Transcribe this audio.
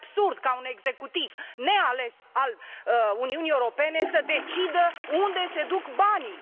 Este absurd ca un executiv neales al Uniunii Europene să decidă unde se duc banii.